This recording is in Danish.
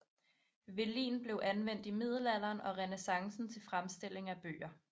Velin blev anvendt i middelalderen og renæssancen til fremstilling af bøger